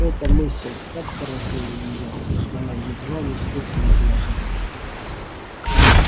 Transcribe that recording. эта мысль так поразила её что она едва не вскрикнула от неожиданности